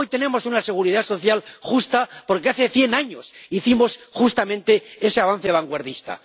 Hoy tenemos una seguridad social justa porque hace cien años hicimos justamente ese avance vanguardista.